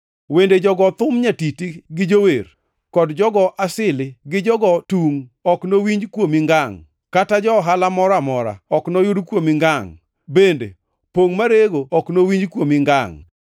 Wende jogo thum nyatiti gi jower, kod jogo asili gi jogo tungʼ, ok nowinj kuomi ngangʼ. Kata ja-ohala moro amora ok noyud kuomi ngangʼ, bende pongʼ marego ok nowinj kuomi ngangʼ.